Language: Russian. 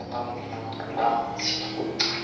там никогда английский